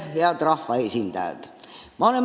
Head rahvaesindajad!